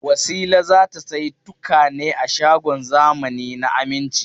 Wasila za ta sayi tukwane a shagon zamani na Aminci.